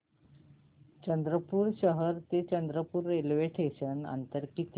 चंद्रपूर शहर ते चंद्रपुर रेल्वे स्टेशनचं अंतर किती